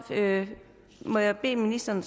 må jeg bede ministeren